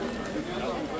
Bu olmaz.